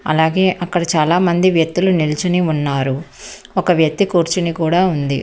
అలాగే అక్కడ చాలా మంది వ్యత్తులు నిల్చుని ఉన్నారు ఒక వ్యత్తి కూర్చుని కూడా ఉంది.